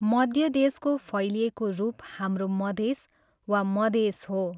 मध्य देशको फैलिएको रूप हाम्रो मधेस वा मदेश हो।